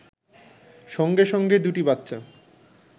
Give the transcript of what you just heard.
সঙ্গে সঙ্গে দুটি বাচ্চা